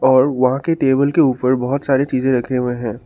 और वहां के टेबल के ऊपर बहोत सारी चीजें रखे हुए हैं।